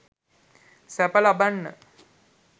සැප ලබන්න.